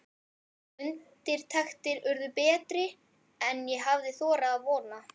Undirtektir urðu betri en ég hafði þorað að vona.